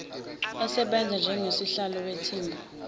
asebenze njengosihlalo wethimba